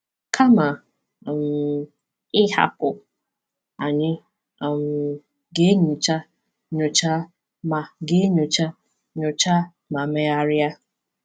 Kama um ịhapụ, anyị um ga-enyocha, nyochaa, ma ga-enyocha, nyochaa, ma megharịa.